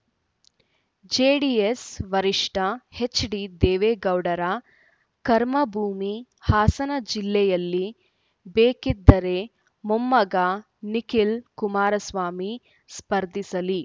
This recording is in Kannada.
ಜೆಡಿಎಸ್‌ ವರಿಷ್ಠ ಎಚ್‌ಡಿದೇವೇಗೌಡರ ಕರ್ಮಭೂಮಿ ಹಾಸನ ಜಿಲ್ಲೆಯಲ್ಲಿ ಬೇಕಿದ್ದರೆ ಮೊಮ್ಮಗ ನಿಖಿಲ್‌ ಕುಮಾರಸ್ವಾಮಿ ಸ್ಪರ್ಧಿಸಲಿ